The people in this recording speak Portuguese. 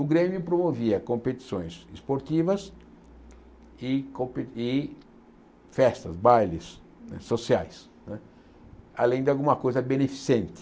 O Grêmio promovia competições esportivas e compe e festas, bailes sociais né, além de alguma coisa beneficente.